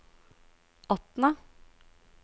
Atna